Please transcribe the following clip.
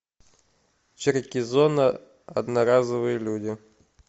черкизона одноразовые люди